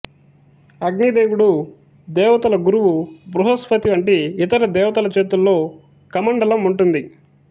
అగ్ని దేవుడు దేవతల గురువు బృహస్పతి వంటి ఇతర దేవతల చేతుల్లో కమండలం ఉంటుంది